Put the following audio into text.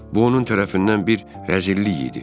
Bu onun tərəfindən bir rəzillik idi.